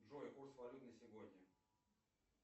джой курс валют на сегодня